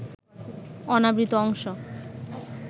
অনাবৃত অংশ